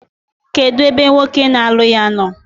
Kedu ebe nwoke na-alụ ya nọ?